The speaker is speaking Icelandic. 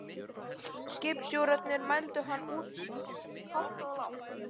Skipstjórarnir mældu hann út hátt og lágt.